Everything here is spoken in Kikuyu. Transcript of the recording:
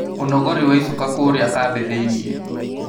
Ũnogori wa icoka kũrĩa kambĩ thĩinĩ